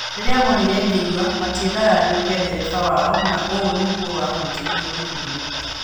Rĩrĩa monire ngĩnyua, matiendaga nduĩke ndereba wao na ũũ nĩguo wahutirie makĩria